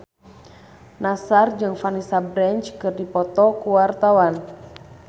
Nassar jeung Vanessa Branch keur dipoto ku wartawan